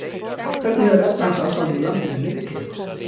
Hvernig hefur efnahagsástandið í landinu leikið ykkur?